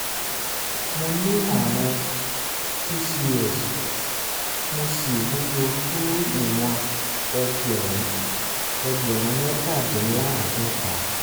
mo ní ààrùn pcos mo sì wúwo tó ìwọ̀n ẹgbẹ̀rún ẹgbẹ̀rún mẹ́tàdínláàádọ́ta